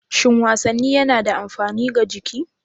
Shin wasanni yana da amfani ga jiki?